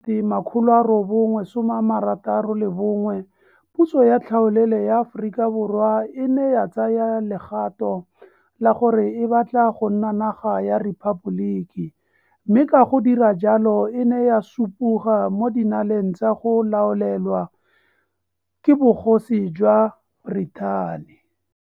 961 puso ya tlhaolele ya Aforika Borwa e ne ya tsaya legato la gore e batla go nna naga ya rephaboliki, mme ka go dira jalo e ne ya supoga mo dinaleng tsa go laolelwa ke Bogosi jwa Britain.